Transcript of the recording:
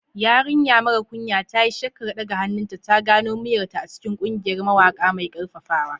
Yarinya mara kunya, ta yi shakkar ɗaga hannunta, ta gano muryarta a cikin ƙungiyar mawaƙa mai ƙarfafawa.